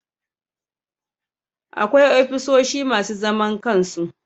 Akwai ofisoshi masu zaman kansu